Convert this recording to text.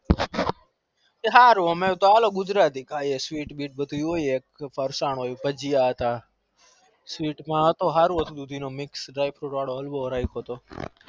હારું અમે કે ગુજરા તી ખાઈ પ્રસન હોય sweet હળવો ભજીયા હતા રાખેતો